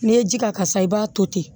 N'i ye ji k'a kan sisan i b'a to ten